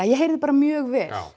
ég heyrði bara mjög vel